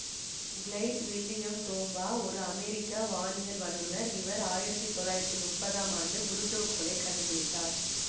glide William Tombaugh ஒரு அமெரிக்க வானியல் வல்லுநர் இவர் ஆயிரத்தி தொள்ளாயிரத்தி முப்பதாம் ஆண்டு புளூட்டோ கோளை கண்டுப்பிடித்தார்